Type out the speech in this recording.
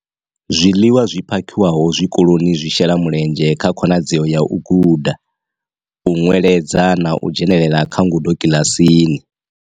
Zwiḽiwa zwi phakhiwaho zwi koloni zwi shela mulenzhe kha khonadzeo ya u guda, u nweledza na u dzhenela kha ngudo kiḽasini.